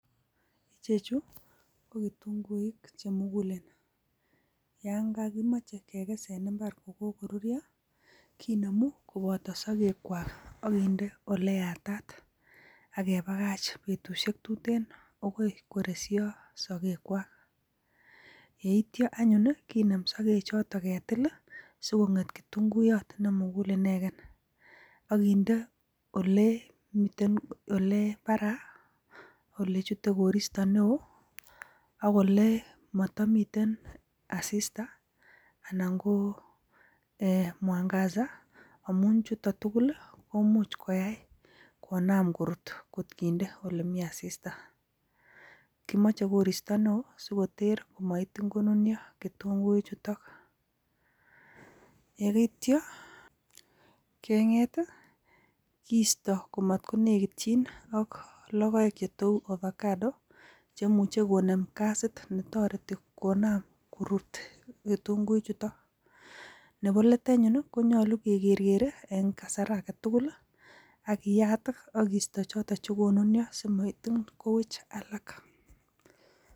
Icheju ko kitunguik che mugulen, yon kokimoche kekes en mbar ko kogoruryo kinemu koboto sogekwak ak kinde ole yatat ak kebagach betushek tuten agoi koresho sogekwak, iyeityo anyun kinem sogek choto ketil sikong'et kitunguiyot nemugul inegen ak kinde olemiten, ole baraa ole chute koristo neo ak ole matomiten asista anan ko mwangaza amun chuton tugul komuch koyai konam korut kotkinde ole mi asista. Kimoche koristo neo sikoter komakitin konunyo ketungik chuto. Ye ityo keng'et kiisto komatkonegityin ak logoek che tou avocado chemuche konem gasit netoreti konam korut ketunguikchuto nebo let anyun konyolu ke kerkere en kasar age tugul ak iyat ak kisto choton ce konunyo simakitin kowech alak